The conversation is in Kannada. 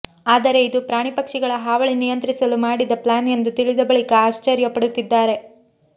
ಆದರೆ ಇದು ಪ್ರಾಣಿ ಪಕ್ಷಿಗಳ ಹಾವಳಿ ನಿಯಂತ್ರಿಸಲು ಮಾಡಿದ ಪ್ಲಾನ್ ಎಂದು ತಿಳಿದ ಬಳಿಕ ಆಶ್ಚರ್ಯ ಪಡುತ್ತಿದ್ದಾರೆ